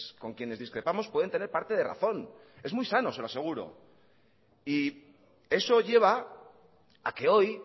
con quienes discrepamos pueden tener parte de razón es muy sano se lo aseguro y eso lleva a que hoy